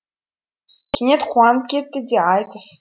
кенет қуанып кетті де айтыс